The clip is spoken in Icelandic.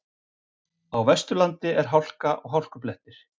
Á Vesturlandi er hálka og hálkublettir